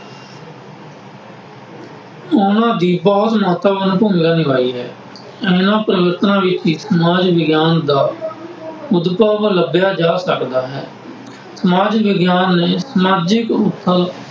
ਉਹਨਾ ਦੀ ਮਹੱਤਵਪੂਰਨ ਭੂਮਿਕਾ ਨਿਭਾਈ ਹੈ। ਇਹਨਾ ਪਰਿਵਰਤਨਾਂ ਵਿੱਚ ਸਮਾਜ ਵਿਗਿਆਨ ਦਾ ਲੱਭਿਆ ਜਾ ਸਕਦਾ ਹੈ। ਸਮਾਜ ਵਿਗਿਆਨ ਨੇ ਸਮਾਜਿਕ ਉੱਥਲ